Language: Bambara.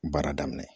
Baara daminɛ